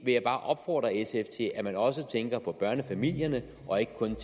vil bare opfordre sf til at man også tænker på børnefamilierne og ikke kun